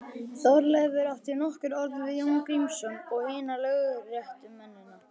Þorleifur átti nokkur orð við Jón Grímsson og hina lögréttumennina.